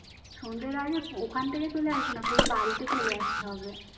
সন্ধ্যার আগে ওখান থেকে চলে আসবো না পুরো বাড়িতে চলে আসতে হবে